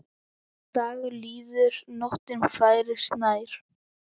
Dagur líður, nóttin færist nær.